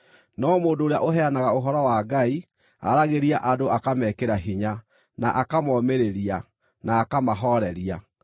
No mũndũ ũrĩa ũheanaga ũhoro wa Ngai aaragĩria andũ akamekĩra hinya, na akamomĩrĩria, na akamahooreria.